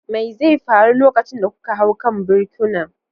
Me zai faru lokacin da kuka hau kan birkunan?